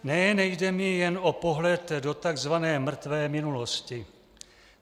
Ne, nejde mi jen o pohled do tzv. mrtvé minulosti.